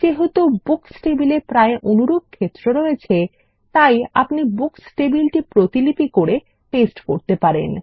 যেহেতু বুকস টেবিলে প্রায় অনুরূপ ক্ষেত্র রয়েছে তাই আপনি বুকস টেবিলটি প্রতিলিপি করে পেস্ট করতে পারেন